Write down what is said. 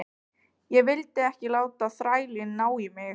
Ég vildi ekki láta þrælinn ná í mig aftur.